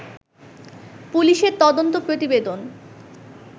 পুলিশের তদন্ত প্রতিবেদন